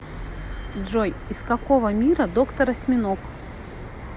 джой из какого мира доктор осьминог